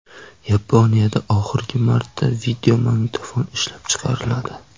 Yaponiyada oxirgi marta videomagnitofon ishlab chiqariladi.